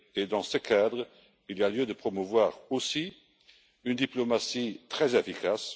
Dans ce cadre, il y a lieu de promouvoir aussi une diplomatie très efficace.